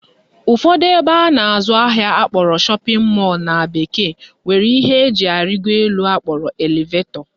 Ụfọdụ ebe a na-azụ ahịa akpọrọ shopping mall na bekee nwere ihe eji arịgo elu akpọrọ elevetọ